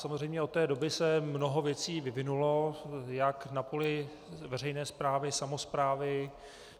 Samozřejmě od té doby se mnoho věcí vyvinulo jak na poli veřejné správy, samosprávy.